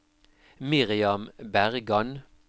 Miriam Bergan